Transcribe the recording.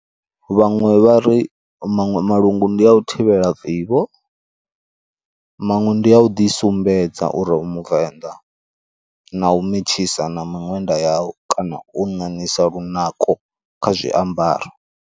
Vhaṅwe vha ri maṅwe malungu ndi a u thivhela vivho, maṅwe ndi a u ḓisumbedza uri u muvenḓa, na u metshisa na miṅwenda yau kana u ṋaṋisa lunako kha zwiambaro.